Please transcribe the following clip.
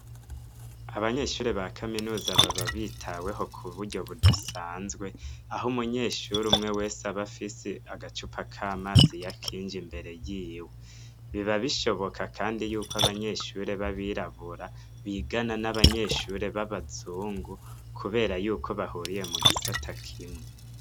Abanyeshuri ba kaminuza baba bitaweho ku buryo budasanzwe, aho umunyeshuri umwe wese abafise agacupa k'amazi yakinju imbere y'iwe ,biba bishoboka kandi yuko abanyeshuri babirabura bigana n'abanyeshuri b'abazungu, kubera yuko bahuriye mu gisata k'imwe.